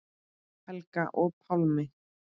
Helga og Pálmi.